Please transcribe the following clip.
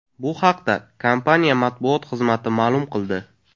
Bu haqda kompaniya matbuot xizmati ma’lum qildi.